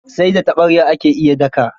Sai da taɓarya ake iya daka.